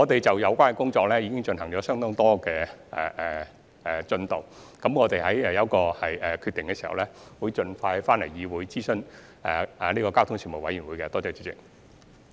這些工作已有相當進度，待我們做好決定後，會盡快回來諮詢交通事務委員會。